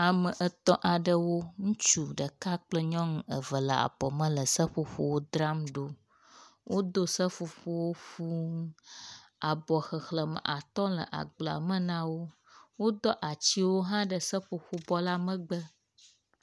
ame etɔ̃ aɖewo ŋutsu ɖeka kple nyɔnu eve le abɔme le seƒoƒowo dram ɖó wodó seƒoƒowo fuū abɔ xexlēme atɔ́ le agblea me nawo wodó atsiwo hã ɖe seƒoƒobɔ la megbe